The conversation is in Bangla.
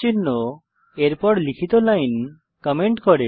চিহ্ন এর পর লিখিত লাইন কমেন্ট করে